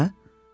Mənə?